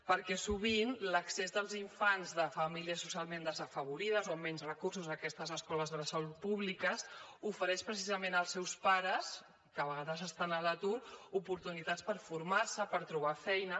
perquè sovint l’accés dels infants de famílies socialment desafavorides o amb menys recursos a aquestes escoles bressol públiques ofereix precisament als seus pares que a vegades estan a l’atur oportunitats per formar se per trobar feina